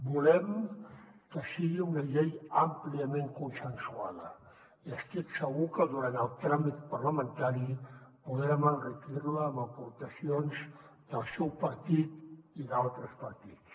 volem que sigui una llei àmpliament consensuada i estic segur que durant el tràmit parlamentari podrem enriquir la amb aportacions del seu partit i d’altres partits